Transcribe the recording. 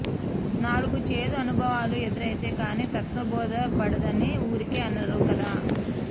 నాలుగు చేదు అనుభవాలు ఎదురైతే కానీ తత్త్వం బోధ పడదని ఊరికే అనరు కదా